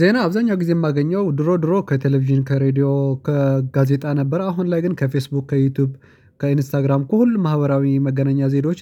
ዜና አብዛኛው ጊዜ የማገኘው ድሮ ድሮ ከቴሌቪዥን ከሬድዮ ከጋዜጣ ነበር አሁን ላይ ግን ከፌስቡክ ከዩቲዩብ ከኢንስታግራም ከሁሉ ማህበራዊ መገናኛ ዜዳዎች።